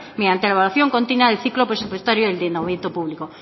mediante la evaluación continua ciclo presupuestario del ordenamiento público